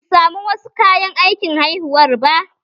Basu samu wasu kayan aikin haihuwar ba